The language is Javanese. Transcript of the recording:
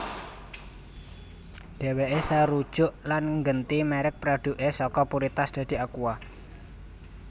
Dheweke sarujuk lan nggenti merek produke saka Puritas dadi Aqua